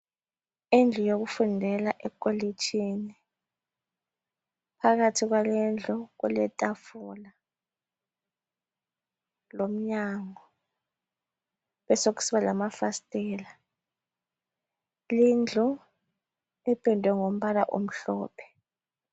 Indlu yokufundela ekolitshini phakathi kwalindlu kuletafula lomnyango kubesekusiba lamafasitela. Lindlu ipendwe ngombala omhlophe .